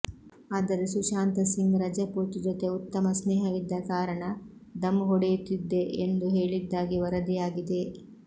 ಆದರೆ ಸುಶಾಂತ ಸಿಂಗ್ ರಜಪೂತ್ ಜೊತೆ ಉತ್ತಮ ಸ್ನೇಹವಿದ್ದ ಕಾರಣ ಧಂ ಹೊಡೆಯುತ್ತಿದ್ದೆ ಎಂದು ಹೇಳಿದ್ದಾಗಿ ವರದಿಯಾಗಿದೆ